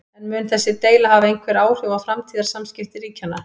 En mun þessi deila hafa einhver áhrif á framtíðar samskipti ríkjanna?